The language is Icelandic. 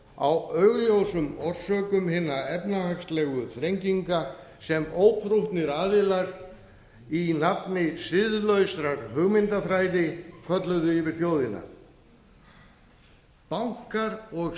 afneitun á augljósum orsökum hinna efnahagslegu þrenginga sem óprúttnir aðilar í nafni siðlausrar hugmyndafræði kölluðu í yfir þjóðina bankar og